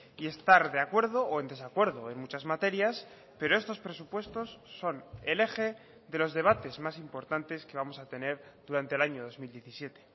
y estar de acuerdo o en desacuerdo en muchas materias pero estos presupuestos son el eje de los debates más importantes que vamos a tener durante el año dos mil diecisiete